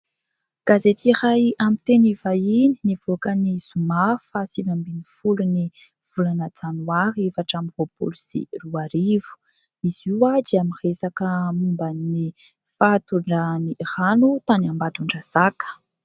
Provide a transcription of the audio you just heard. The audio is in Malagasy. Gazety iray amin'ny teny vahiny nivoaka ny zoma faha sivy ambin'ny folon'ny volana janoary efatra amby roapolo sy roa arivo. Izy io dia miresaka momban'ny fahatondrahan'ny rano tany Ambatondrazaka.